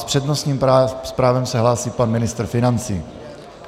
S přednostním právem se hlásí pan ministr financí.